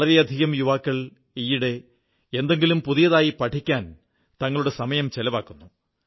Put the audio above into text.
വളരെയധികം യുവാക്കൾ ഈയിടെ എന്തെങ്കിലും പുതിയതായി പഠിക്കാൻ തങ്ങളുടെ സമയം ചിലവാക്കുന്നു